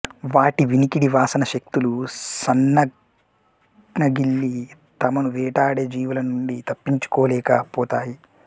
వాటి వినికిడి వాసన శక్తులు సన్నగిల్లి తమను వేటాడే జీవుల నుండి తప్పించుకోలేక పోతాయి